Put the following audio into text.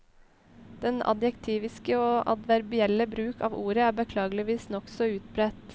Den adjektiviske og adverbielle bruk av ordet er beklageligvis nokså utbredt.